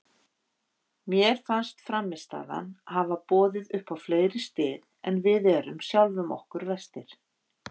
Mér fannst frammistaðan hafa boðið upp á fleiri stig en við erum sjálfum okkur verstir.